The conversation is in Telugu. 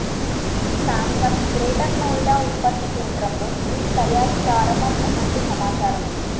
శాంసంగ్ గ్రేటర్ నోయిడా ఉత్పత్తి కేంద్రంలో వీటి తయారీ ప్రారంభం అయినట్లు సమాచారం